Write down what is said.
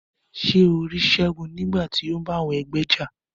Ṣe o ri Segun nigbati o n bá àwọn ẹgbẹ́ já?